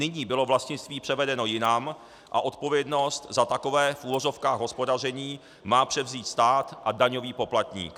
Nyní bylo vlastnictví převedeno jinam a odpovědnost za takové, v uvozovkách, hospodaření má převzít stát a daňový poplatník.